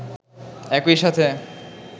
একই সাথে